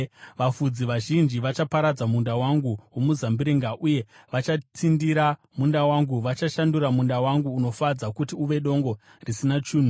Vafudzi vazhinji vachaparadza munda wangu womuzambiringa, uye vachatsindira munda wangu; vachashandura munda wangu unofadza kuti uve dongo risina chinhu.